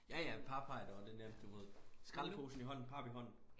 Ja ja pap har jeg da også det nemt du ved skraldeposen i hånden pap i hånden